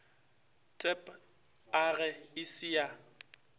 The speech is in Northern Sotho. tab age e se ya